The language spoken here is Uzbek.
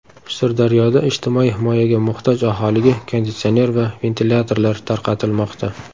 Sirdaryoda ijtimoiy himoyaga muhtoj aholiga konditsioner va ventilyatorlar tarqatilmoqda.